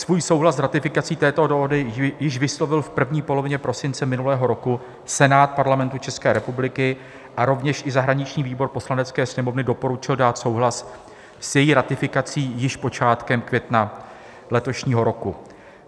Svůj souhlas s ratifikací této dohody již vyslovil v první polovině prosince minulého roku Senát Parlamentu České republiky a rovněž i zahraniční výbor Poslanecké sněmovny doporučil dát souhlas s její ratifikací již počátkem května letošního roku.